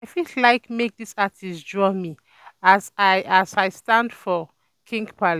I for like um make this artist draw me um as I as I stand for king palace um